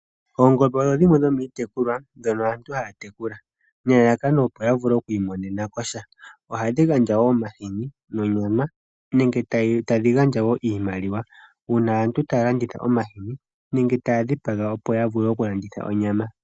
Oongombe odho dhimwe dhomiitekula ndhono aantu haya tekulwa nelalakano opo ya vule okwiimonenakosha, oha dhi gandja wo omahini nonyama nenge tadhi gandja wo iimaliwa uuna aantu taya landitha omahini nenge taya dhipaga opo ya vule okulanditha onyama.